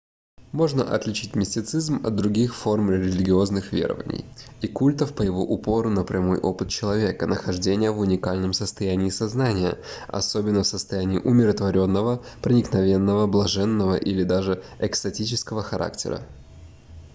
можно отличить мистицизм от других форм религиозных верований и культов по его упору на прямой опыт человека нахождения в уникальном состоянии сознания особенно в состоянии умиротворённого проникновенного блаженного или даже экстатического характера